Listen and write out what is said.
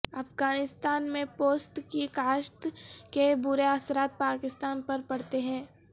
افغانستان میں پوست کی کاشت کے برے اثرات پاکستان پر پڑتے ہیں